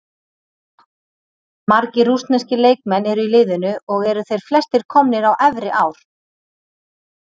Margir rússneskir leikmenn eru í liðinu og eru þeir flestir komnir á efri ár.